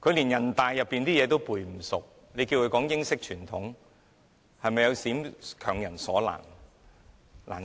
他們連人大的規則也背不好，叫他們說英式傳統，是否有點強人所難？